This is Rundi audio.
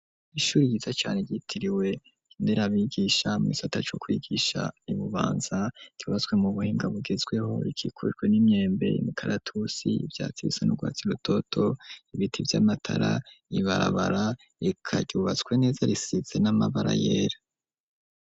Ishuri yiza cane, ryitiriwe inderabigisha, mu gisata co kwigisha, i Bubanza, ryubatswe mu buhinga, bugezweho; rikikujwe n'imyembe, imikaratusi, ivyatsi bisa n’urwatsi rutoto, ibiti vy'amatara ibarabara, eka ryubatswe neza, risize n'amabara, yera.